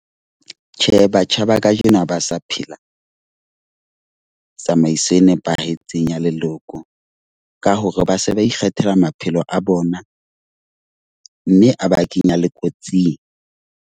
Tjhe, batjha ba kajeno ba sa phela tsamaiso e nepahetseng ya leloko, ka hore ba se ba ikgethela maphelo a bona. Mme a ba kenya le kotsing.